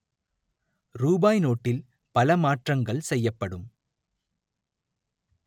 ரூபாய் நோட்டில் பல மாற்றங்கள் செய்யப்படும்